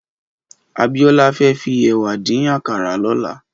Abiola fè fi èwà dín àkárá lòlá